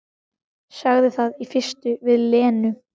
Sagði það í fyrstu við Lenu.